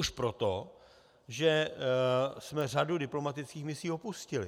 Už proto, že jsme řadu diplomatických misí opustili.